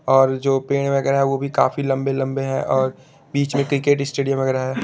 और जो पेड़ वगैरह है वो भी काफी लंबे लंबे है और बीच में क्रिकेट स्टेडियम वगैरह है।